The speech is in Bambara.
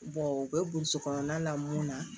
u bɛ burusi kɔnɔna la mun na